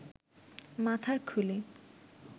মাথার খুলি